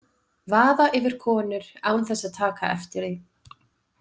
Vaða yfir konur án þess að taka eftir því.